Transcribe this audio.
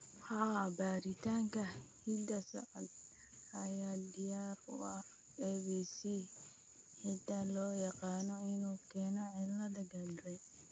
Haa, baaritaanka hidda-socodka ayaa diyaar u ah APC, hiddaha loo yaqaan inuu keeno cilada Gardner .